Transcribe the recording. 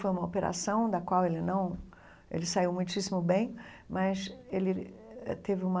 Foi uma operação da qual ele não... Ele saiu muitíssimo bem, mas ele eh teve uma...